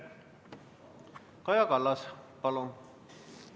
Kaja Kallas, palun!